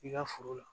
I ka foro la